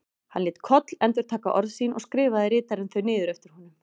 Hann lét Koll endurtaka orð sín og skrifaði ritarinn þau niður eftir honum.